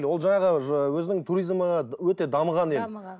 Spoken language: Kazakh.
ол жаңағы өзінің туризмі ы өте дамыған ел дамыған